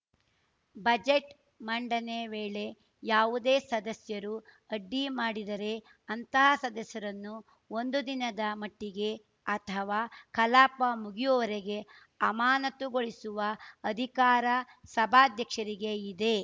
budget ಮಂಡನೆ ವೇಳೆ ಯಾವುದೇ ಸದಸ್ಯರು ಅಡ್ಡಿ ಮಾಡಿದರೆ ಅಂತಹ ಸದಸ್ಯರನ್ನು ಒಂದು ದಿನದ ಮಟ್ಟಿಗೆ ಅಥವಾ ಕಲಾಪ ಮುಗಿಯುವವರೆಗೆ ಅಮಾನತುಗೊಳಿಸುವ ಅಧಿಕಾರ ಸಭಾಧ್ಯಕ್ಷರಿಗೆ ಇದೆ